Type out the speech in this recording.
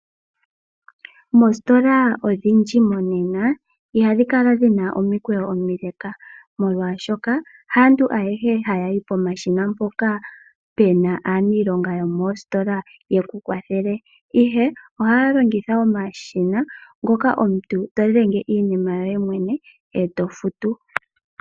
Moositola odhindji monena ihadhi kala dhina omikweyo omileka, molwashoka haantu ayehe hayayi pomashina mpoka puna aaniilonga yomositola yeku kwathele, ihe ohaya longitha omashina ngoka omuntu todhenge iinima yoye mwene, e tofutu.